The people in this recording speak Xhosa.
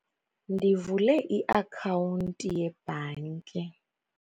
Ndivule iakhawunti yebhanki